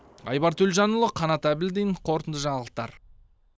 айбар төлжанұл қанат әбілдин қорытынды жаңалықтар